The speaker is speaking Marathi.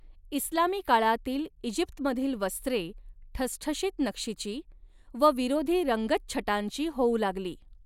इस्लामी काळातील ईजिप्तमधील वस्त्रे ठसठशीत नक्षीची व विरोधी रंगच्छटांची होऊ लागली.